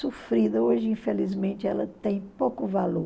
Sofrida hoje, infelizmente, ela tem pouco valor.